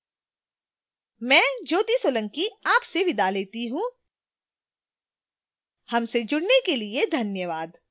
हमसे जुड़ने के लिए धन्यवाद